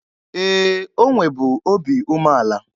Ee, o nwebu obi umeala.